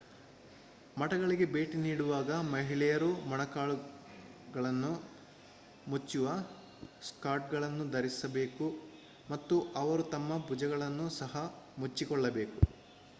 ಮಠಗಳಿಗೆ ಭೇಟಿ ನೀಡುವಾಗ ಮಹಿಳೆಯರು ಮೊಣಕಾಲುಗಳನ್ನು ಮುಚ್ಚುವ ಸ್ಕರ್ಟ್‌ಗಳನ್ನು ಧರಿಸಬೇಕು ಮತ್ತು ಅವರು ತಮ್ಮ ಭುಜಗಳನ್ನು ಸಹ ಮುಚ್ಚಿಕೊಳ್ಳಬೇಕು